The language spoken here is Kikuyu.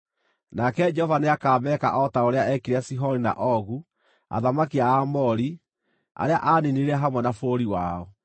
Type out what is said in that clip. Nake Jehova nĩakameka o ta ũrĩa eekire Sihoni na Ogu, athamaki a Aamori, arĩa aaniinire hamwe na bũrũri wao.